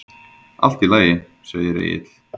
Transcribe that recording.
Allt í lagi, segir Egill.